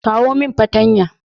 kawo min patanya